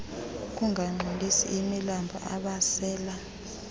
ukungangcolisi imilambo abasela